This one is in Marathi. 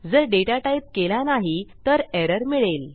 जर डेटा टाईप केला नाही तर एरर मिळेल